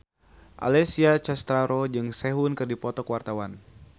Alessia Cestaro jeung Sehun keur dipoto ku wartawan